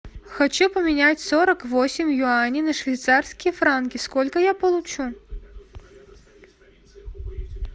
хочу поменять сорок восемь юаней на швейцарские франки сколько я получу